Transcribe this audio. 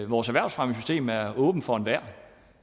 vores erhvervsfremmesystem er åbent for enhver